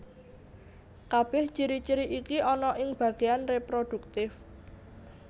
Kabèh ciri ciri iki ana ing bagéan reproduktif